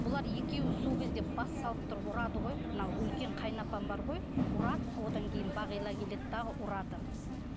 бұлар екеуі сол кезде бас салып тұрып ұрады ғой мынау үлкен қайынапам бар ғой ұрады одан кейін бағила келеді дағы ұрады